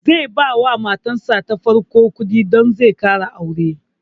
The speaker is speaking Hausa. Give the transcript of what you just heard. Zai ba wa matar sa ta farko kuɗi don zai ƙara aure